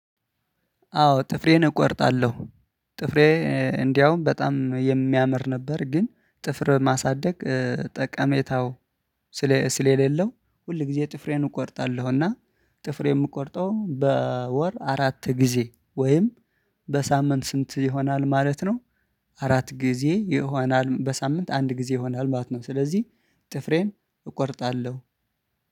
አዎ ጥፍሬን እቆርጣለሁ። ጥፍሬ እንደውም በጣም የሚያምር ነበር። ግን ጥፍር ማሳደግ ጠቀሜታው ስለሌለው ሁል ጊዜ ጥፍሬን እቆርጣለሁ። እና ጥፍሬ የምቆርጠው በወር አራት ጊዜ ወይም በሳምንት ስንት ይሆናል ማለት ነው? አራት ጊዜ ይሆናል በሳምንት አንድ ጊዜ ይሆናል ማለት ነው። ስለዚህ ጥፍሬን እቆርጣለሁ